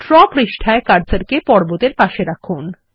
draw পৃষ্ঠায় কার্সারকে পর্বতের পাশে রাখুন